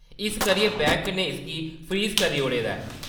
इस करियै बैंक ने इसगी फ्रीज़ करी ओड़े दा ऐ।